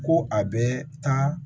Ko a bɛ taa